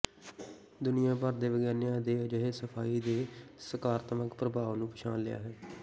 ਦੁਨੀਆਂ ਭਰ ਦੇ ਵਿਗਿਆਨੀਆਂ ਨੇ ਅਜਿਹੇ ਸਫਾਈ ਦੇ ਸਕਾਰਾਤਮਕ ਪ੍ਰਭਾਵ ਨੂੰ ਪਛਾਣ ਲਿਆ ਹੈ